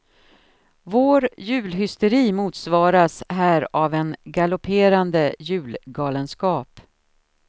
Vår julhysteri motsvaras här av en galopperande julgalenskap.